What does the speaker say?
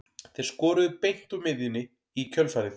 Þeir skoruðu beint úr miðjunni í kjölfarið.